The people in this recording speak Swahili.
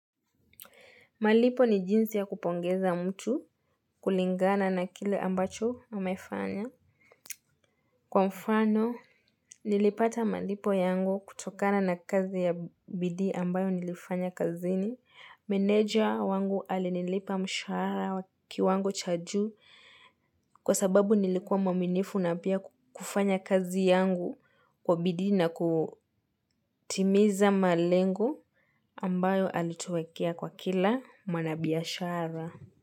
Malipo ni jinsi ya kupongeza mtu kulingana na kile ambacho amefanya. Kwa mfano, nilipata malipo yangu kutokana na kazi ya bidii ambayo nilifanya kazini. Meneja wangu alinilipa mshahara wa kiwango cha juu kwa sababu nilikuwa mwaminifu na pia kufanya kazi yangu kwa bidii na kutimiza malengo ambayo alituekea kwa kila mwanabiashara.